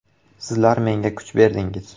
Sizlar menga kuch berdingiz.